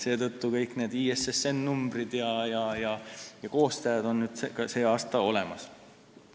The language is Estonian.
Seetõttu on ISSN-numbrid, koostajad jms seal nüüd olemas.